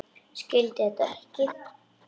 Skildi þetta ekki.